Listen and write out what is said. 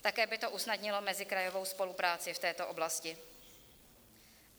Také by to usnadnilo mezikrajovou spolupráci v této oblasti.